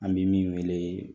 An bɛ min weele ye